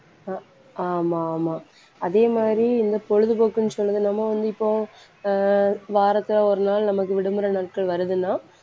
அஹ் ஆமா ஆமா அதே மாதிரி இந்த பொழுதுபோக்குன்னு சொன்னது நம்ம வந்து இப்போ அஹ் வாரத்துல ஒரு நாள் நமக்கு விடுமுறை நாட்கள் வருதுன்னா